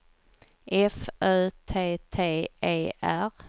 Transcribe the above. F Ö T T E R